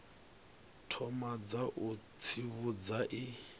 thoma dza u tsivhudza i